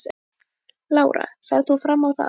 Lára: Ferð þú fram á það?